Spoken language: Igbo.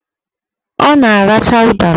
Ọ na-aracha ụdara